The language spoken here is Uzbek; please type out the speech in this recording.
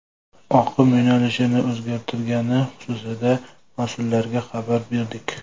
Oqim yo‘nalishini o‘zgartirgani xususida mas’ullarga xabar berdik.